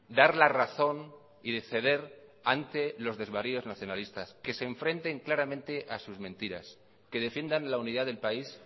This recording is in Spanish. dar la razón y de ceder ante los desvaríos nacionalistas que se enfrenten claramente a sus mentiras que defiendan la unidad del país